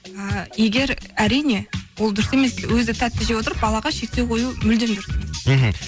і егер әрине ол дұрыс емес өзі тәтті жеп отырып балаға шектеу қою мүлдем дұрыс емес мхм